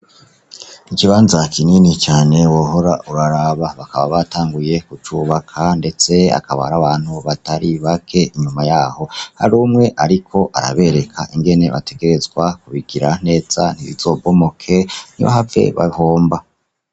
Ikibanza kinini cane wohora uraraba bakaba batanguye kucubaka ndetse akaba ari abantu atari bake inyuma yabo hari umwe ariko arabereka ingene bategerezwa kubigira neza ntibizobomoke ntibahave bahomba.